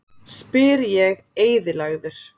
spyr ég eyðilagður.